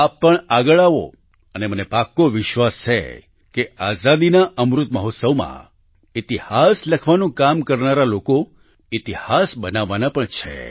આપ પણ આગળ આવો અને માને પાક્કો વિશ્વાસ છે કે આઝાદીના અમૃત મહોત્સવમાં ઈતિહાસ લખવાનું કામ કરનારા લોકો ઈતિહાસ બનાવવાના પણ છે